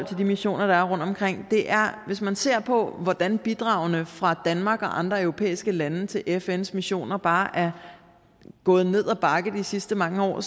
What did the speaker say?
til de missioner der er rundtomkring hvis man ser på hvordan bidragene fra danmark og andre europæiske lande til fns missioner bare er gået ned ad bakke de sidste mange år